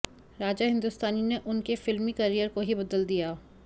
राजा हिंदुस्तानी ने उनके फिल्मी करियर को ही बदल दिया